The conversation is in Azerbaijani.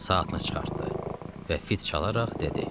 Saatını çıxartdı və fit çalaraq dedi: